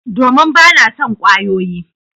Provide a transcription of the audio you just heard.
Domin ba na son kwayoyi